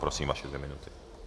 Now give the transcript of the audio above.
Prosím, vaše dvě minuty.